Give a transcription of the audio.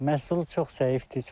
Məhsul çox zəifdir.